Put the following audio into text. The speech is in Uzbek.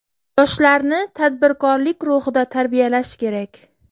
Yoshlarni tadbirkorlik ruhida tarbiyalash kerak.